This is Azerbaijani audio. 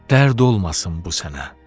Dərd olmasın bu sənə.